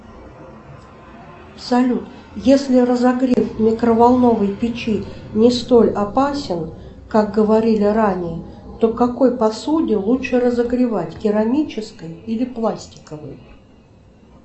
салют если разогрев микроволновой печи не столь опасен как говорили ранее то в какой посуде лучше разогревать в керамической или пластиковой